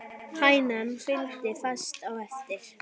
Hænan fylgdi fast á eftir.